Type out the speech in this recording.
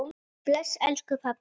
Bless elsku pabbi.